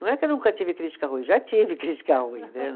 Não é que eu nunca tive crítica ruim, já tive crítica ruim né